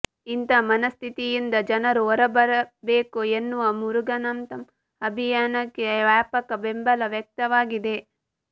ಇಂಥ ಮನಸ್ಥಿತಿಯಿಂದ ಜನರು ಹೊರಬರಬೇಕು ಎನ್ನುವ ಮುರುಗನಂತಂ ಅಭಿಯಾನಕ್ಕೆ ವ್ಯಾಪಕ ಬೆಂಬಲ ವ್ಯಕ್ತವಾಗಿದೆ